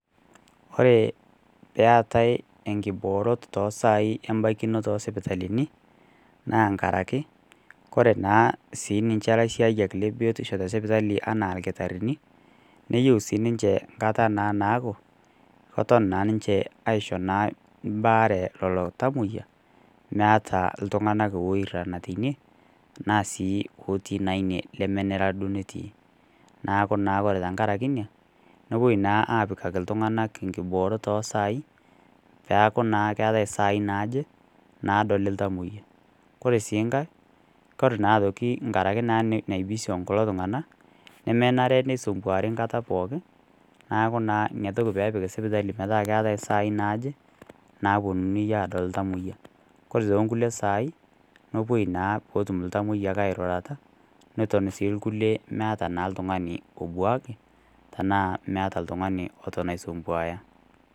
Ore peatai enkiboorot to saai embaikinoto o sipitalini, naa nkaraki kore naa siininche ilaisiayiak le biotisho te sipitali anaa lkitarini, neyou naa sii ninche nkata naaku keton naa ninche aisho baare lelo tamwoiya , meata iltung'ana oirang'a teine naa sii otii naa ine neme nera duo netii. Neaku naa ore tenkaraki inia, nepuoi naa apikaki iltung'ana inkiboorot o sai, peaku naa keata isaai naaje naadoli oltamwoyia. Kore sii enkai, Kore sii aitoki enkaraki naa enaibisi kulo tung'ana, nemenare neisumbuari enkata pooki, neaku naa inatoki metipika sipitali metaa keatai isaai naaje, naapuonunii aadol oltamwoyia. Kore too inkulie saai, nepuoi naa pee etum iltamwoiya airurata neton sii ilkulie meata naa l'tungani obuaki tanaa meata oltung'ani oton aisumbwaaya.